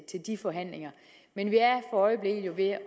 de forhandlinger men vi er i øjeblikket ved at